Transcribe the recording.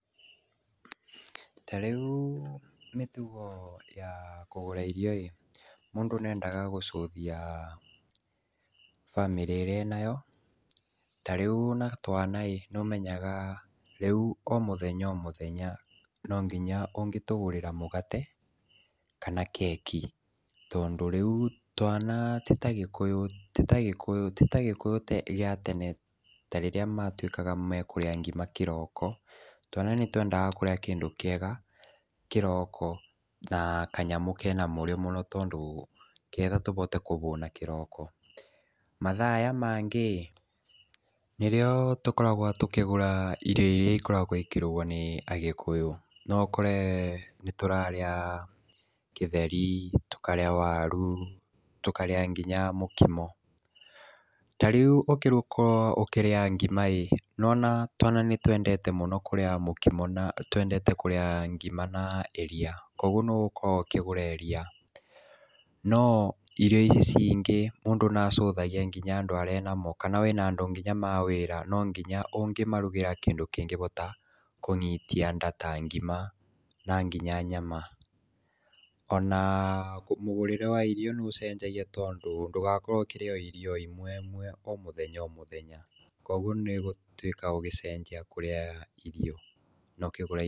Ta riũ mĩtugo ya kũgũra irio ĩ, mũndũ nendaga gũcũthia bamĩrĩ ĩrĩa enayo, ta rĩũ wĩna twana ĩ nĩũmenyaga o mũthenya o mũthenya nonginya ũngĩtũgũrĩre mũgate kana keki, tondũ rĩũ twana tĩ ta gĩkũyũ, tĩ ta gĩkũyũ, tĩ ta gĩkũyũ gĩa tene tarĩrĩa matuĩkaga mekũrĩa ngima kĩroko, twana nĩtwendaga kũrĩa kĩndũ kĩega kĩroko na kanyamũ kena mũrĩo mũno, tondũ nĩgetha mabote kũhũna kĩroko, mathaa aya mangĩ nĩrĩo tũkoragwa tũkĩgũa irio irĩa ikoragwo ikĩrugwo nĩ agĩkũyũ, noũkore nĩtũrarĩa kĩtheri, tũkarĩa waru, tũkarĩa nginya mũkimo, tarĩu ũngĩkorwo ũkĩrĩa ngima ĩ, nĩwona twana nĩtwendete mũno kũrĩa mũkimo, twendete kũria ngima na iria, koguo noũgũkorwo ũkĩgũra iria, no irio irĩa cingĩ mũndũ nacuthagia andũa arĩa wĩ namo kana wĩna andũ nginya ma wĩra, nonginya ũngĩmarugĩra kĩndũ kĩngĩhota kũnyitia nda ta ngima na nginya nyama, ona mũgũrĩre wa irio nĩ ũcenjagia tondũ wakorwo ũkĩrĩa irio o imwe o mũthenya o mũthenya, koguo nĩgũtũĩka ũgĩcenjia kũrĩa irio.